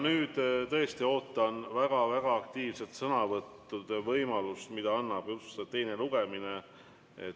Nüüd ma tõesti ootan väga-väga aktiivseid sõnavõtte, milleks annab võimaluse teine lugemine.